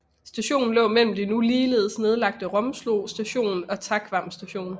Stationen lå mellem de nu ligeledes nedlagte Romslo Station og Takvam Station